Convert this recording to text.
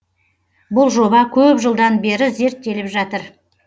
бұл жоба көп жылдан бері зерттеліп жатыр